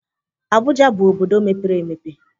Abuja bụ obodo mepere emepe